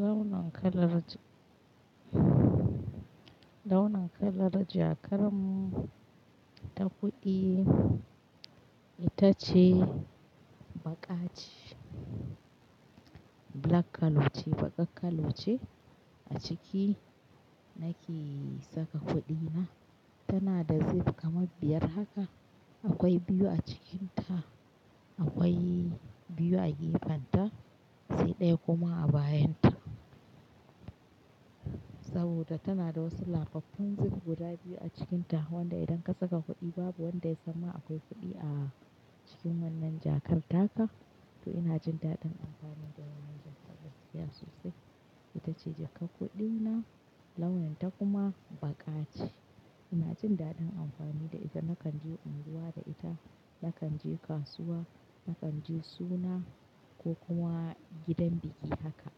Launin kalar, launin kalar jakar mu ta kuɗi ita ce baƙa ce. Black kallo ce, baƙak kallo ce a ciki nake saka kuɗina. Tana da zip kamar biyar haka. Akwai biyu a cikinta, akwai biyu a gefenta, sai ɗaya kuma a bayan ta. Saboda tana da wasu lafaffun zip guda biyu a cikinta wanda idan ka saka kuɗi babu wanda ya zama akwai kuɗi a cikin wannan jakar haka. To ina jin daɗin amfani da wannan jakar gaskiya sosai. Ita ce jakar kuɗina launin ta kuma baƙa ce. Ina jin daɗin amfani da ita, nakan je unguwa da ita, nakan je kasuwa, nakan je suna ko kuma gidan biki haka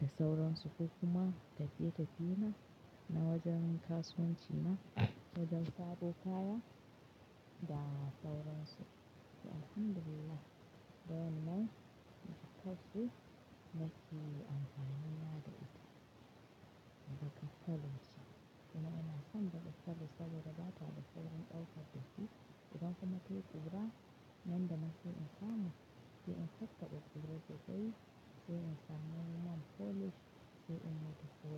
da sauran su. Ko kuma tafiye-tafiye na, na wajen kasuwanci na, wajen saro kaya da sauran su. To Alhamdulillah don nan mu tabbas mu ke amfani da ita. Bakar kallo ce. To ina yana, san da gaskar gaskata da ba ta da sauran ɗaukar gaskiya. Idan ba mu ke ƙugura man da muke amfani, shi in tattaɓa ƙugure sosai shi in samu man folish shi in mata soro.